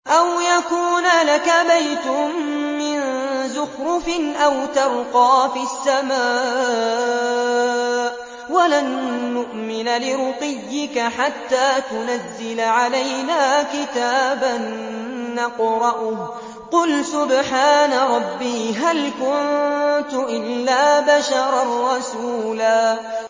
أَوْ يَكُونَ لَكَ بَيْتٌ مِّن زُخْرُفٍ أَوْ تَرْقَىٰ فِي السَّمَاءِ وَلَن نُّؤْمِنَ لِرُقِيِّكَ حَتَّىٰ تُنَزِّلَ عَلَيْنَا كِتَابًا نَّقْرَؤُهُ ۗ قُلْ سُبْحَانَ رَبِّي هَلْ كُنتُ إِلَّا بَشَرًا رَّسُولًا